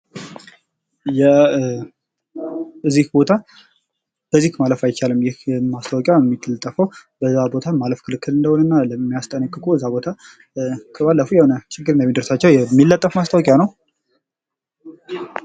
ይህ ቦታ በዚህ ቦታ ማለፍ አይቻልም የሚል የተለጠፈ የሚያስጠነቅቅ ችግር እንደሚደርስባቸው የሚናገር ማስታወቂያ ነው።